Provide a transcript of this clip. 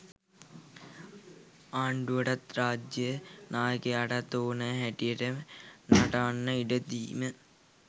ආණ්ඩුවටත් රාජ්‍යය නායකයාටත් ඕනෑ හැටියට නටන්නට ඉඩ දීම